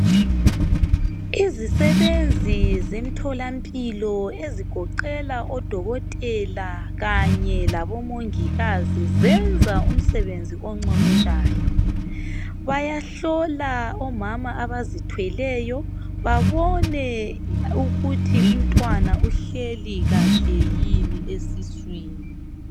Izisebenzi zemtholampilo ezigoqela odokotela kanye labomongikazi zenza umsebenzi oncomekayo bayahlola omama abazithweleyo babone ukuthi umntwana uhleli kahle yini esiswini